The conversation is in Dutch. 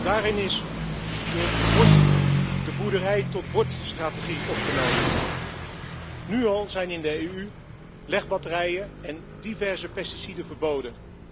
Daarin is de boerderij tot bord strategie opgenomen. Nu al zijn in de EU legbatterijen en diverse pesticiden verboden.